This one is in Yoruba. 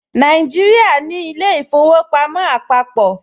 Nàìjíríà ní ilé-ìfowópamọ́ àpàpọ̀